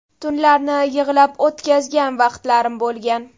Tunlarni yig‘lab o‘tkazgan vaqtlarim bo‘lgan.